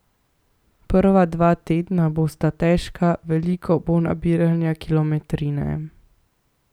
Prva dva tedna bosta težka, veliko bo nabiranja kilometrine.